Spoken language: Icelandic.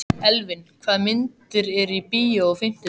Elvin, hvaða myndir eru í bíó á fimmtudaginn?